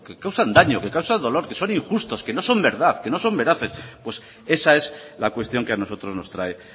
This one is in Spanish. causan daño que causan dolor que son injustos que no son verdad que no son veraces pues esa es la cuestión que a nosotros nos trae